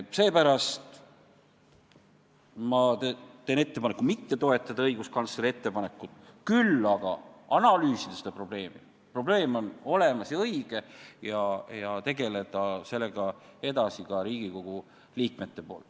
Seepärast teen ettepaneku mitte toetada õiguskantsleri ettepanekut, küll aga analüüsida seda probleemi – probleem on olemas – ja sellega peaksid edasi tegelema ka Riigikogu liikmed.